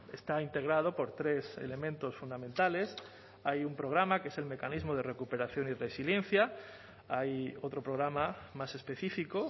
está integrado por tres elementos fundamentales hay un programa que es el mecanismo de recuperación y resiliencia hay otro programa más específico